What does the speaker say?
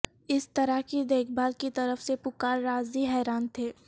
اس طرح کی دیکھ بھال کی طرف سے پکاراززی حیران تھے